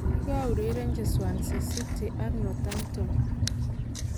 Kikourerenji Swansea City ak Northampton.